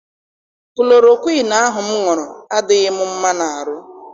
Kulorokwiinu ahụ m ṅụrụ adịghị m mma n'arụ.